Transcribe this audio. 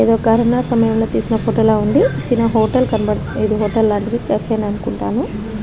ఇది కరోన సమయంలో తిసినతువట్టి ఫోటో లా ఉంది. చిన్న హోటల్ కనబడ ఇది హోటల్ లాంటిది అనుకుంటాను.